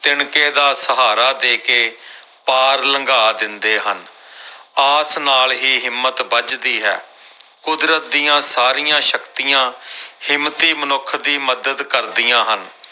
ਤਿਣਕੇ ਦਾ ਸਹਾਰਾ ਦੇ ਕੇ ਪਾਰ ਲੰਘਾ ਦਿੰਦੇ ਹਨ ਆਸ ਨਾਲ ਹੀ ਹਿੰਮਤ ਬੱਝਦੀ ਹੈ ਕੁਦਰਤ ਦੀਆਂ ਸਾਰੀਆਂ ਸ਼ਕਤੀਆਂ ਹਿੰਮਤੀ ਮਨੁੱਖ ਦੀ ਮਦਦ ਕਰਦੀਆਂ ਹਨ।